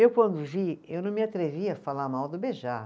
Eu, quando vi, eu não me atrevi a falar mal do Bejar.